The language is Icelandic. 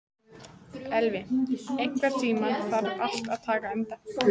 Elvi, einhvern tímann þarf allt að taka enda.